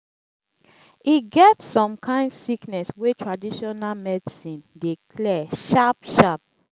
e get some kain sickness wey traditional medicine dey clear sharp-sharp.